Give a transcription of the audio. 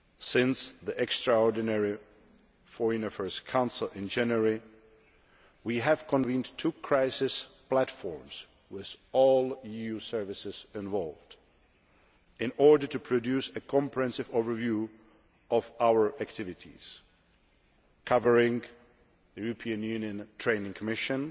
Since the extraordinary Foreign Affairs Council in January, we have convened two Crisis Platforms, with all EU services involved, in order to produce a comprehensive overview of our activities covering the European Union Training Mission,